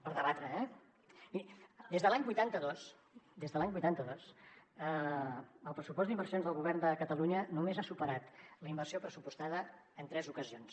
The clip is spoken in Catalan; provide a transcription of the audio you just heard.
per debatre eh miri des de l’any vuitanta dos el pressupost d’inversions del govern de catalunya només ha superat la inversió pressupostada en tres ocasions